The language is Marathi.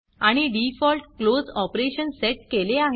आणि डिफॉल्ट क्लोज ऑपरेशन सेट केले आहे